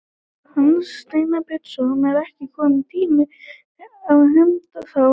Hans Steinar Bjarnason: Er ekki kominn tími á hefnd þá núna?